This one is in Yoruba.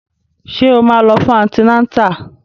Ṣé o máa lọ fún antinátà?